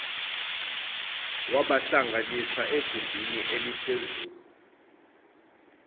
wabahlanganisa egumbini eliphezulu